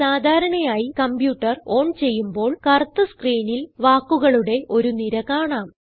സാധാരണയായി computer on ചെയ്യുമ്പോൾ കറുത്ത സ്ക്രീനിൽ വാക്കുകളുടെ ഒരു നിര കാണാം